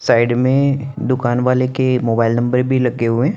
Side में दूकान वाले के मोबइल नंबर भी लगे हुए हैं।